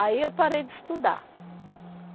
Aí, eu parei de estudar.